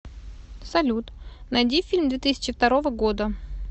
салют найди фильм две тысячи второго года